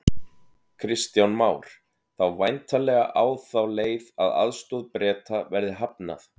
Kristján Már: Þá væntanlega á þá leið að aðstoð Breta verði hafnað?